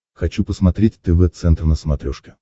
хочу посмотреть тв центр на смотрешке